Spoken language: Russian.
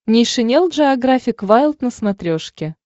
нейшенел джеографик вайлд на смотрешке